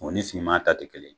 O ni sigi ma ta tɛ kelen ye.